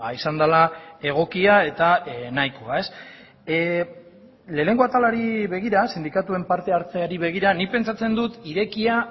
izan dela egokia eta nahikoa ez lehenengo atalari begira sindikatuen parte hartzeari begira nik pentsatzen dut irekia